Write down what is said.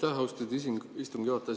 Aitäh, austatud istungi juhataja!